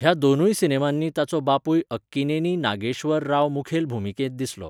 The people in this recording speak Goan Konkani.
ह्या दोनूय सिनेमांनी ताचो बापूय अक्किनेनी नागेश्वर राव मुखेल भुमिकेंत दिसलो.